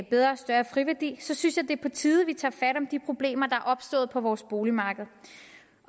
bedre og større friværdi synes jeg det er på tide at vi tager fat om de problemer der er opstået på vores boligmarked